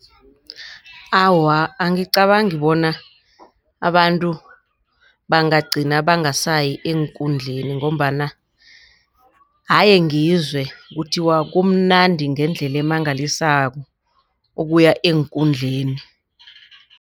Awa, angicabangi bona abantu bagcina bangasayi eenkundleni ngombana haye ngizwe kuthiwa kumnandi ngendlela emangalisako ukuya eenkundleni.